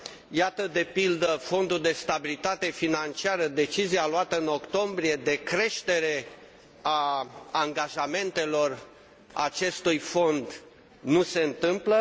Iată, de pildă, Fondul european de stabilitate financiară decizia luată în octombrie, de creștere a angajamentelor acestui fond, nu se întâmplă.